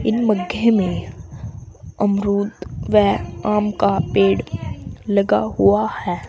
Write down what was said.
इन मग्गे में अमरूद वै आम का पेड़ लगा हुआ है।